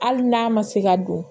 Hali n'a ma se ka don